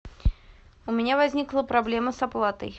у меня возникла проблема с оплатой